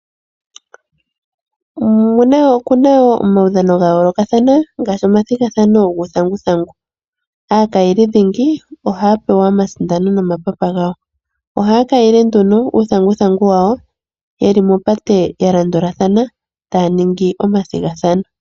Okuna wo omudhano gayoolokathana ngaashi omathigathano guuthanguthangu, aakayelidhingi ohaya pewa omasindano nomapapa gawo. Ohaya kayile nduno uuthanguthangu wawo ye li mopate yalandulathana taya ningi omathigathano.